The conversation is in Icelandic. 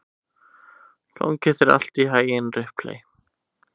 Gangi þér allt í haginn, Ripley.